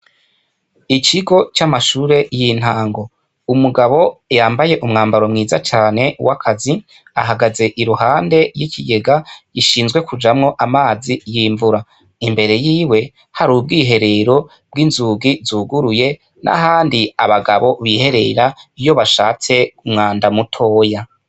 Ikigo c'amashure y'intango, umugabo yambaye umwambaro mwiza cane w'akazi ahagaze iruhande y'ikigega gishinzwe kujamwo amazi y'imvura, imbere yiwe hari ubwiherero bw'inzugi zuguruye nahandi abagabo biherera iyo bashatse umwanda mutoya.